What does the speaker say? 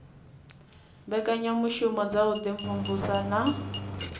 mbekanyamushumo dza u imvumvusa na